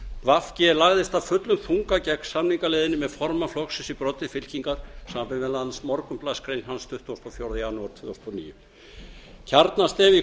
v g lagðist af fullum þunga gegn samningaleiðinni með formann flokksins í broddi fylkingar samanber meðal annars morgunblaðsgrein hans tuttugasta og fjórða janúar tvö þúsund og níu kjarnastef í